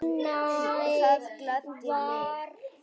Það gladdi mig.